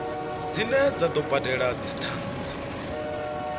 dzine dza do badelwa dzithanzi